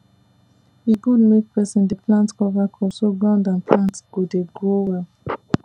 e good make person dey plant cover crops so ground and plant go dey grow well